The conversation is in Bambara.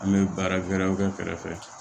An bɛ baara wɛrɛw kɛ kɛrɛfɛ